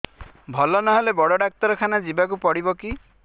ଭଲ ନହେଲେ ବଡ ଡାକ୍ତର ଖାନା ଯିବା କୁ ପଡିବକି